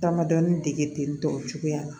Damadɔni degeli tɔw cogoya la